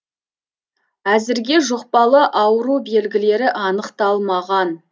әзірге жұқпалы ауру белгілері анықталмаған